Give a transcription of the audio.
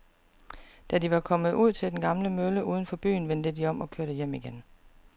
Da de var kommet ud til den gamle mølle uden for byen, vendte de om og kørte hjem igen.